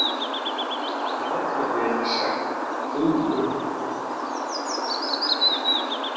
En það get ég ekki sagt Dúu.